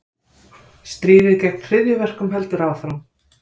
Stríðið gegn hryðjuverkum heldur áfram